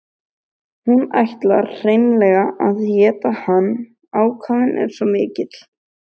Hún ætlar hreinlega að éta hann, ákafinn er svo mikill.